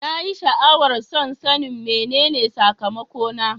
Na yi sha'awar son sanin menene sakamakona.